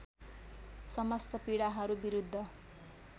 समस्त पीडाहरू विरुद्ध